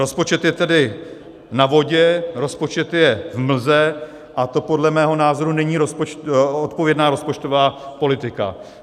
Rozpočet je tedy na vodě, rozpočet je v mlze a to podle mého názoru není odpovědná rozpočtová politika.